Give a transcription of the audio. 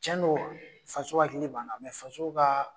Cɛn don faso hakili b'an na, faso ka